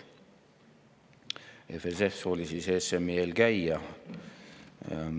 EFSF oli ESM‑i eelkäija.